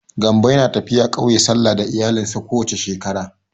Gambo yana tafiya ƙauye sallah da iyalinsa ko wace shekara.